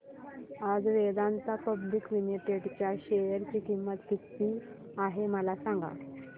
आज Vedanta public limited च्या share ची किंमत किती आहे मला सांगा